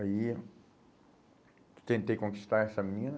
Aí, tentei conquistar essa mina.